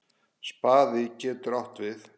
Spaði getur átt við